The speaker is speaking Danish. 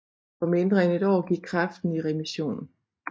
På mindre end et år gik kræften i remission